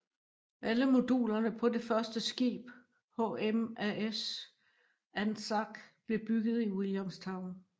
Alle modulerne på det første skib HMAS Anzac blev bygget i Williamstown